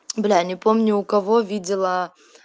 бля не помню у кого видела